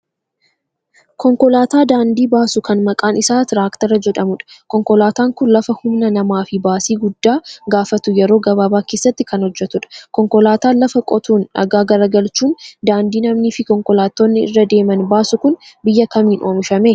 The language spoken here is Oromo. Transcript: Konkolaataa daandii baasu kan maqaan isaa 'trakter'jedhamudha. Konkolaataan kun lafa humna namaa fi baasii guddaa gaafatu yeroo gabaabaa keessatti kan hojjetudha. Konkolaataan lafa qotuun, dhagaa garagalchuun daandii namnii fi konkolaattonni irra deeman baasu kun biyya kamiin oomishame?